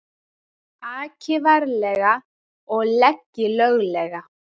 Aki varlega og leggi löglega